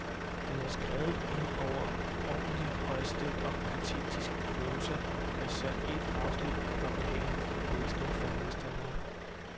Den var skrevet i en overordentligt højstemt og patetisk prosa og især ét afsnit var behagelig læsning for modstanderne.